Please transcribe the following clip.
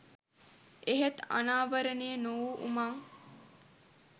එහෙත් අනාවරණය නොවූ උමං